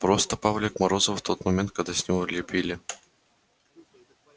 просто павлик морозов в тот момент когда с него лепили